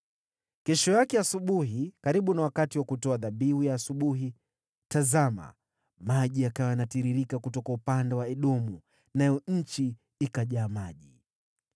Kesho yake asubuhi, karibu na wakati wa kutoa dhabihu ya asubuhi, tazama, maji yakawa yanatiririka kutoka upande wa Edomu! Nayo nchi ikajaa maji.